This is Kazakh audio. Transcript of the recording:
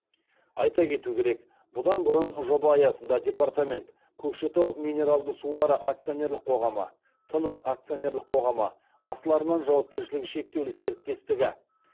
айта кету керек бұдан бұрын жоба аясында департамент көкшетау минералды сулары акционерлік қоғамы тыныс акционерлік қоғамы асыл арман жауапкершілігі шектеулі серіктестігі